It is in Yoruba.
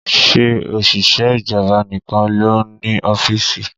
Ṣé òṣìṣẹ́ ìjọba nìkan ló ń ní ọ́fíìsì?